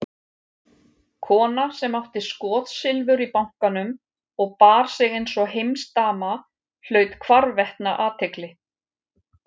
Kona sem átti skotsilfur í bankanum og bar sig einsog heimsdama hlaut hvarvetna athygli.